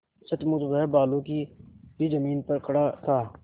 सचमुच वह बालू की ही जमीन पर खड़ा था